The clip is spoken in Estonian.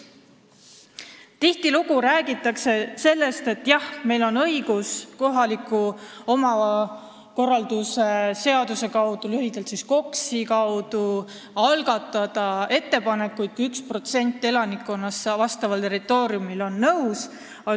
Tihtilugu räägitakse, et jah, meil on kohaliku omavalitsuse korralduse seaduse ehk lühidalt KOKS-i alusel õigus algatada ettepanekuid, kui vähemalt üks 1% elanikkonnast on nõus.